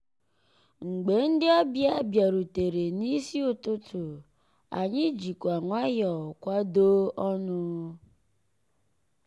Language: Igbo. mgbé ndị́ ọ̀bịá bìàrùtérè n'ísí ụtụtụ́ ànyị́ jìkwà nwayọ́ọ̀ kwàdóó ọnụ́.